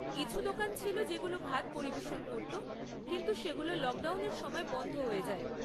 কিছু দোকান ছিল যেগুলো ভাত পরিবেশন করত, কিন্তু সেগুলো লকডাউনের সময় বন্ধ হয়ে যায়।